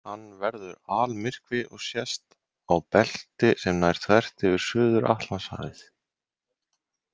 Hann verður almyrkvi og sést á belti sem nær þvert yfir Suður-Atlantshafið.